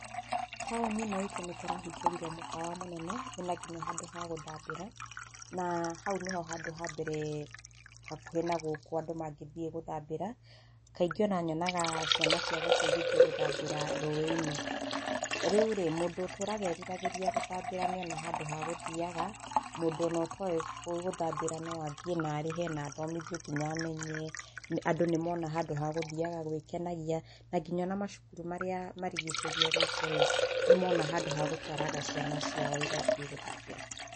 Taũni ĩno itũ nĩ kũrahingũrirwo mũkawa mũnene wĩ na nginya handũ ha gũthambĩra, na hau nĩ ho handũ ha mbere hakuhĩ na gũkũ andũ mangĩthiĩ gũthambĩra, kaingĩ o na nyonaga ciana cia gũkũ igĩthiĩ gũthambĩra rũĩ-inĩ. Na rĩu rĩ, mũndũ ũtũraga eriragĩria gũthambĩra nĩ ona handũ ha gũthiaga, mũndũ o na ũtoĩ gũthambĩra no athiĩ na arĩhe na athomithio nginya amenye, andũ nĩ mona handũ ha gũthiaga gwĩkenagia, na nginya o na macukuru marĩa marigicĩirie gũkũ rĩ, nĩ mona handũ ha gũtwaraga ciana ciao igathiĩ gũthambĩra.